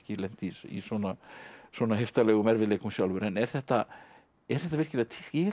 lent í svona svona heiftarlegum erfiðleikum sjálfur en er þetta er þetta virkilega til ég hélt